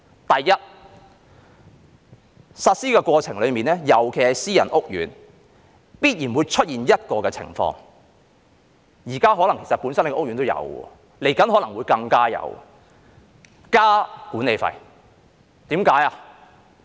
第一，在實施的過程中，尤其是私人屋苑，必然會出現一種情況，現在的屋苑可能已有，未來可能會更多，就是增加管理費。